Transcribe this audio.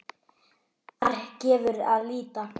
Þar gefur að líta